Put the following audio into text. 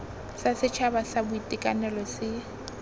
sa setšhaba sa boitekanelo se